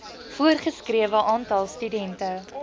voorgeskrewe aantal studente